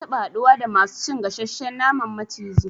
Na taba haɗuwa da masu cin gasashshen naman maciji